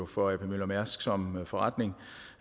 for ap møller mærsk as som forretning